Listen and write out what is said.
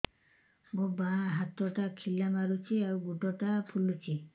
ମୋ ବାଆଁ ହାତଟା ଖିଲା ମାରୁଚି ଆଉ ଗୁଡ଼ ଟା ଫୁଲୁଚି